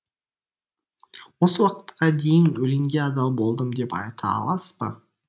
осы уақытқа дейін өлеңге адал болдым деп айта аласыз ба